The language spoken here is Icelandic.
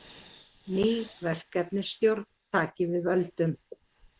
Ný verkefnisstjórn taki við völdum